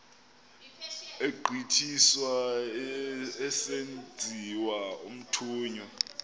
egqithiswa esenziwa umthunywa